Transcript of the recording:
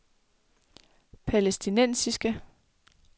palæstinensiske